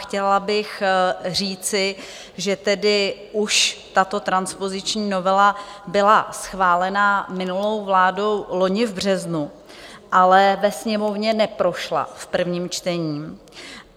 Chtěla bych říci, že tedy už tato transpoziční novela byla schválena minulou vládou loni v březnu, ale ve Sněmovně neprošla v prvním čtení.